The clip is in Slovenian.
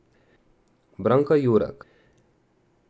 Branka Jurak.